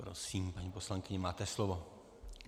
Prosím, paní poslankyně, máte slovo.